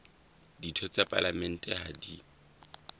ditho tsa palamente ha di